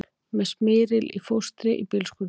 Með smyril í fóstri í bílskúrnum